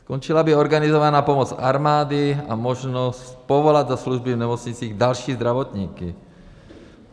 Skončila by organizovaná pomoc armády a možnost povolat do služby v nemocnicích další zdravotníky.